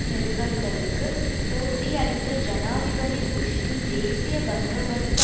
நிருபர்களுக்கு போட்டியளித்த ஜனாதிபதி புஷ்ஷின் தேசிய பந்தோபஸ்து